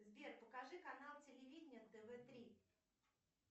сбер покажи канал телевидения тв три